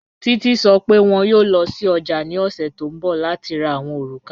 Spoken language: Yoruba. Títi sọ́ pé wọn yóò lọ sí ọ̀jà ni ọ̀ṣẹ̀ tó nbọ̀ láti rá àwọn orúkà